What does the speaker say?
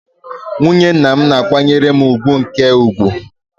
Nwunye nwa m na-akwanyere m ùgwù nke ukwuu.